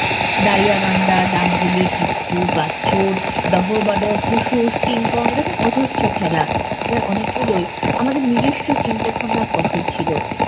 দারিয়াবান্ধা, ডাংগুলি, পিকটু, গাটছোড়, ডবডবাডব, হুস হুস, কিং কং এইরকম অজস্র খেলা। এর অনেকগুলোই আমাদের নিজস্ব চিন্তাভাবনার ফসল ছিল।